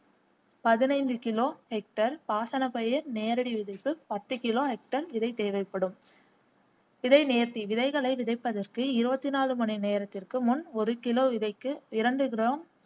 பதினைந்து kilo hectare பாசன பயிர் நேரடி விதைப்பு பத்து கிலோ கேக்டார் விதை தேவைப்படும் கிடை நேர்த்தி விதைகளை விதைப்பதற்கு இருபத்தி நான்கு மணி நேரத்திற்கு முன் ஒரு கிலோ விதைக்கு இரண்டு கிராம்